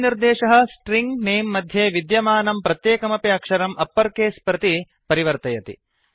अयं निर्देशः स्ट्रिङ्ग् नमे नेम् मध्ये विद्यमानं प्रत्येकमपि अक्षरम् अप्पर् केस् प्रति परिवर्तयति